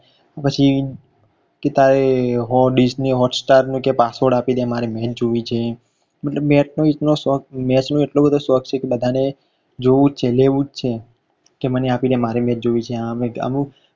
કેતા હોય કે hot dish ની hoststar નો password આપી દે match જોવી છે મતલબ કે match નો એટલો શોખ match નો એટલો બધો શોખ છે કે બધાને જોવું જ છે લેવું જ છે મને આપી દે મારે match જોવી છે આમકે અમુક